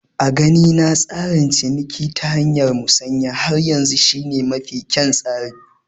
A ganina tsarin ciniki ta hanyar Musanya har yanzu shi ne mafi kyan tsari